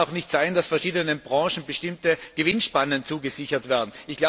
Es kann auch nicht sein, dass verschiedenen Branchen bestimmte Gewinnspannen zugesichert werden.